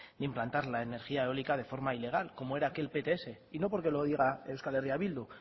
de implantar la energía eólica de forma ilegal como era el de aquel pts y no porque lo diga eh bildu